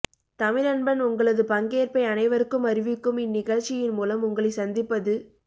தமிழன்பன் உங்களது பங்கேற்பை அனைவருக்கும் அறிவிக்கும் இந்நிகழ்ச்சியின் மூலம் உங்களை சந்திப்பது